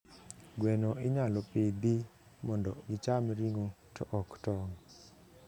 Gweno inyalo pidhi mondo gicham ring'o to ok tong'.